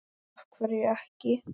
af hverju ekki?